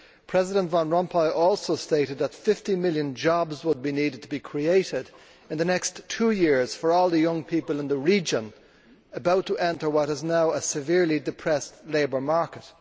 President Van Rompuy also stated that 50 million jobs would have to be created in the next two years for all the young people in the region about to enter what is now a severely depressed labour market.